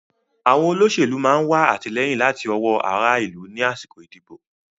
Àwọn olóṣèlú máa wà àtìlẹ́yìn láti ọwọ́ ará ìlú ni àsìkò ìdìbò